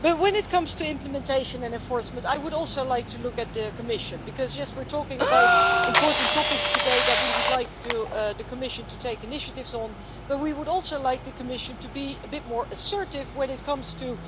When it comes to implementation and enforcement I would also like to look at the Commission because yes we are talking about important topics today that we would like the Commission to take initiatives on, but we would also like the Commission to be a bit more assertive when it comes to